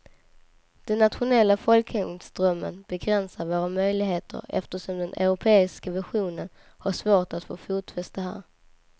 Den nationella folkhemsdrömmen begränsar våra möjligheter eftersom den europeiska visionen har svårt att få fotfäste här.